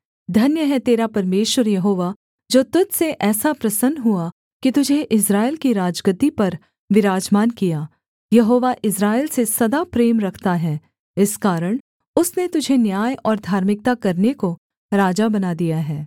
धन्य है तेरा परमेश्वर यहोवा जो तुझ से ऐसा प्रसन्न हुआ कि तुझे इस्राएल की राजगद्दी पर विराजमान किया यहोवा इस्राएल से सदा प्रेम रखता है इस कारण उसने तुझे न्याय और धार्मिकता करने को राजा बना दिया है